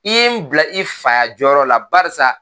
I ye n bila i fa ya jɔyɔrɔ la .Barisa